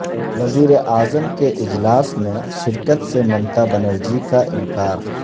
وزیراعظم کے اجلاس میں شرکت سے ممتابنرجی کا انکار